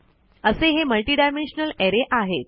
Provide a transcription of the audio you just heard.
असे हे मल्टिडायमेन्शनल अरे आहेत